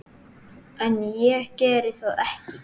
En ég geri það ekki.